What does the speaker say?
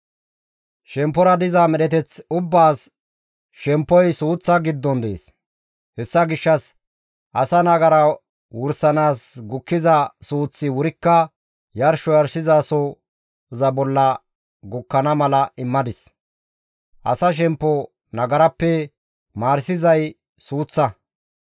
Shemppora paxa diza medheteth ubbaas shemppoy suuththa giddon dees; hessa gishshas asa nagara wursanaas gukkiza suuththi wurikka yarsho yarshizasoza bolla gukkana mala immadis; asa shemppo nagarappe maarisizay suuththa.